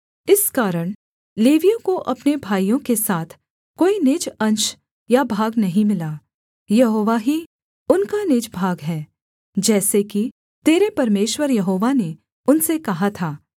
इस कारण लेवियों को अपने भाइयों के साथ कोई निज अंश या भाग नहीं मिला यहोवा ही उनका निज भाग है जैसे कि तेरे परमेश्वर यहोवा ने उनसे कहा था